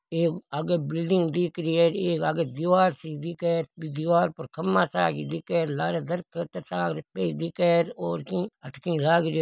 एक आगे बिल्डिंग सी दिख एक आगे खम्भा सा दिख रो हैं दीवार पर खंभों सो दिख लार धर्कत सा दिख और आठ की लाग रो हैं।